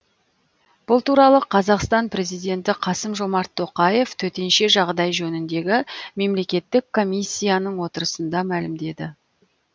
бұл туралы қазақстан президенті қасым жомарт тоқаев төтенше жағдай жөніндегі мемлекеттік комиссияның отырысында мәлімдеді